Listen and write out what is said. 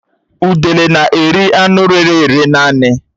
Udele n'eri anụ rére ere naanị